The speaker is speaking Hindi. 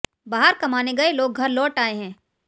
बाहर कमाने गए लोग घर लौट आए हैं